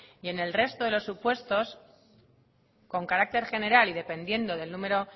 en el resto de los supuestos con carácter general y dependiendo del número